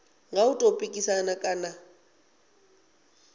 nga u tou pikisana kana